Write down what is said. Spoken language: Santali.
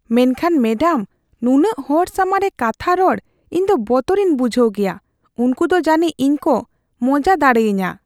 ᱢᱮᱱᱠᱷᱟᱱ ᱢᱮᱰᱟᱢ, ᱱᱩᱱᱟᱹᱜ ᱦᱚᱲ ᱥᱟᱢᱟᱝ ᱨᱮ ᱠᱟᱛᱷᱟ ᱨᱚᱲ ᱤᱧ ᱫᱚ ᱵᱚᱛᱚᱨᱤᱧ ᱵᱩᱡᱷᱦᱟᱹᱣ ᱜᱮᱭᱟ ᱾ ᱩᱝᱠᱩ ᱫᱚ ᱡᱟᱹᱱᱤᱡ ᱤᱧ ᱠᱚ ᱢᱚᱡᱟ ᱫᱟᱲᱮᱭᱟᱹᱧᱟ ᱾